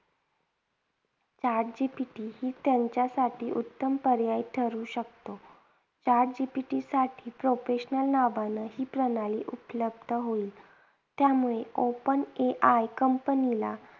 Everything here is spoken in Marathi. Chat GPT ही त्यांच्यासाठी उत्तम पर्याय ठरू शकतो. Chat GPT साठी professional नावाने ही प्रणाली उपलब्ध होईल. त्यामुळे open AI company ला